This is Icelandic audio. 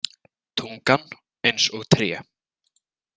Tungan eins og tré.